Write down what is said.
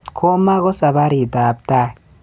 Komo ko sabarit ab tai